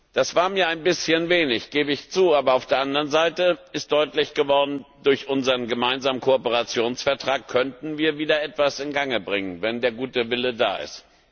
Das war mir ein bisschen wenig, gebe ich zu, aber auf der anderen Seite ist deutlich geworden, durch unseren gemeinsamen Kooperationsvertrag könnten wir wieder etwas in Gang bringen, wenn der gute Wille da ist.